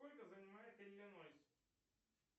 сколько занимает иллинойс